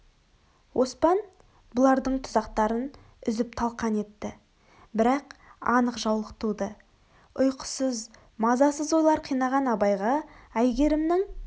оспан бұлардың тұзақтарын үзіп талқан етті бірақ анық жаулық туды үйқысыз мазасыз ойлар қинаған абайға әйгерімнің